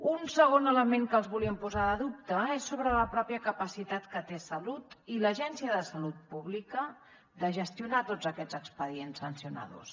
un segon element que els volíem posar de dubte és sobre la capacitat que té salut i l’agència de salut pública de gestionar tots aquests expedients sancionadors